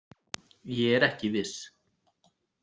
Ég er ekki viss.